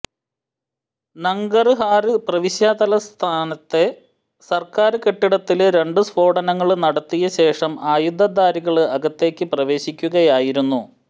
നംഗര്ഹാര് പ്രവിശ്യാതലസ്ഥാനത്തെ സര്ക്കാര് കെട്ടിടത്തില് രണ്ടു സ്ഫോടനങ്ങള് നടത്തിയ ശേഷം ആയുധ ധാരികള് അകത്തേക്ക് പ്രവേശിക്കുകയായിരുന്നു